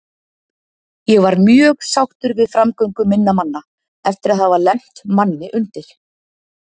Ég var mjög sáttur við framgöngu minna manna eftir að hafa lent manni undir.